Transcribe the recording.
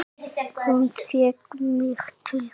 Hún fékk mig til þess!